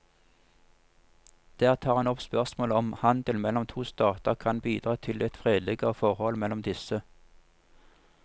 Der tar han opp spørsmålet om handel mellom to stater kan bidra til et fredeligere forhold mellom disse.